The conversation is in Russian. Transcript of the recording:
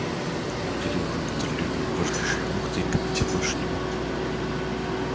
люди ли уже контролировали важнейшие пункты и комитет больше не мог